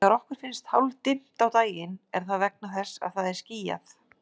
Þegar okkur finnst hálfdimmt á daginn er það vegna þess að það er skýjað.